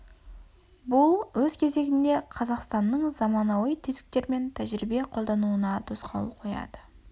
бұл өз кезегінде қазақстаннның заманауи тетіктер мен тәжірибе қолдануына тосқауыл қояды